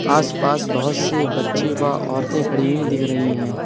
आस पास बहोत से बच्चे व औरतें खड़ी हुई दिख रही हैं।